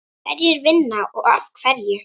Hverjir vinna og af hverju?